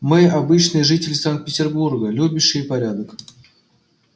мы обычные жители санкт-петербурга любящие порядок